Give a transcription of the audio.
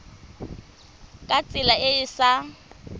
ka tsela e e sa